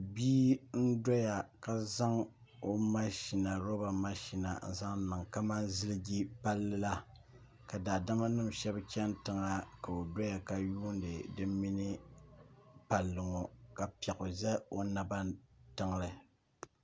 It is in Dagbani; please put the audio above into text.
loori nim n tam palli zuɣu loori nim maa puuni shɛli nyɛla zaɣ ʒiɛ ka niraba bɛ binni ka nyɛ gbanpiɛla ka so yɛ liiga sabinli ka gbubi bini ka di nyɛ zaɣ vakaɣali o nyaanga niraba ʒɛya ka yɛ liiga piɛla ka pili zipili sabila